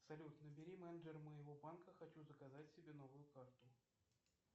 салют набери менеджера моего банка хочу заказать себе новую карту